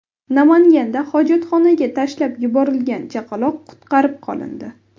Namanganda hojatxonaga tashlab yuborilgan chaqaloq qutqarib qolindi.